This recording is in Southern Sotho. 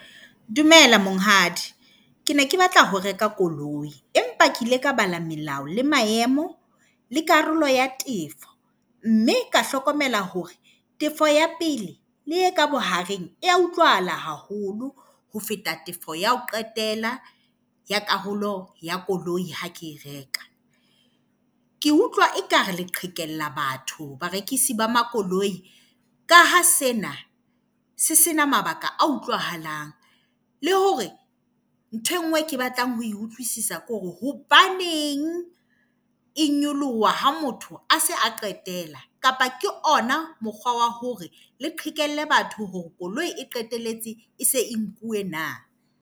Dumela monghadi. Ke ne ke batla ho reka koloi empa ke ile ka bala melao le maemo le karolo ya tefo mme ka hlokomela hore tefo ya pele le e ka bohareng ya utlwahala haholo ho feta tefo ya ho qetela ya karolo ya koloi ha ke e reka. Ke utlwa ekare le qhekella batho barekisi ba makoloi ka ha sena se se na mabaka a utlwahalang le hore ntho e nngwe ke batlang ho utlwisisa ke hore hobaneng e nyoloha ha motho a se a qetela, kapa ke ona mokgwa wa hore le qhekelle batho hore koloi e qetelletse e se e nkuwe na?